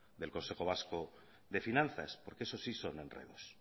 del consejo vasco de finanzas porque eso sí son enredos